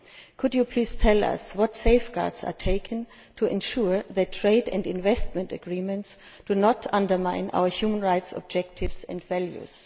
Could you please tell us what safeguards are taken to ensure that trade and investment agreements do not undermine our human rights objectives and values?